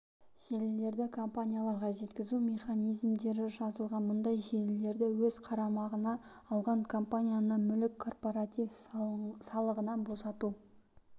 желілерді компанияларға өткізу механизмдері жазылған мұндай желілерді өз қарамағына алған компанияны мүлік корпоратив салығынан босату